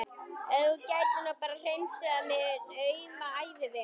Ef þú gætir nú bara hreinsað minn auma æviveg.